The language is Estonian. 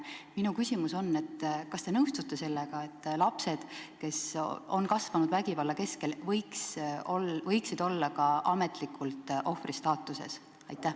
Minu küsimus on: kas te nõustute sellega, et lapsed, kes on kasvanud vägivalla keskel, võiksid olla ka ametlikult ohvri staatuses?